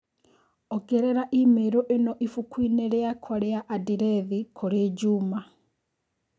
ongerera i-mīrū ĩno ibuku-inĩ rĩakwa rĩa andirethi kũrĩ Juma